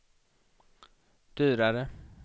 dyrare